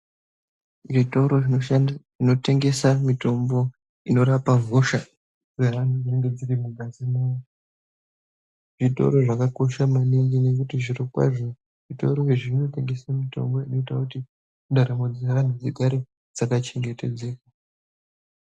Zvitoro zvinotengesa mitombo inorapa hosha dzeanhu dzinenge dziri mungazi mawo zvitoro zvakakosha maningi ngekuti zvirokwazvo zvitoro izvi zvinotengesa mitombo inoita kuti ndaramo dzevantu dzigare dzakachengetedzeka.